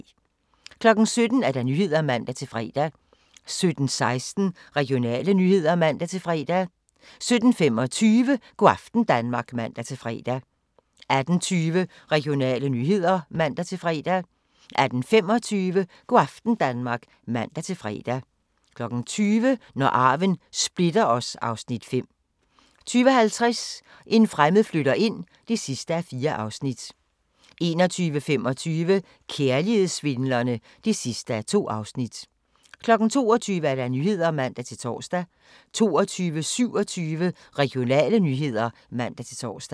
17:00: Nyhederne (man-fre) 17:16: Regionale nyheder (man-fre) 17:25: Go' aften Danmark (man-fre) 18:20: Regionale nyheder (man-fre) 18:25: Go' aften Danmark (man-fre) 20:00: Når arven splitter os (Afs. 5) 20:50: En fremmed flytter ind (4:4) 21:25: Kærlighedssvindlerne (2:2) 22:00: Nyhederne (man-tor) 22:27: Regionale nyheder (man-tor)